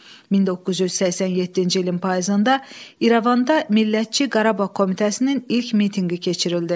1987-ci ilin payızında İrəvanda Millətçi Qarabağ Komitəsinin ilk mitinqi keçirildi.